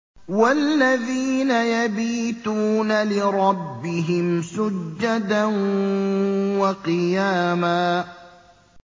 وَالَّذِينَ يَبِيتُونَ لِرَبِّهِمْ سُجَّدًا وَقِيَامًا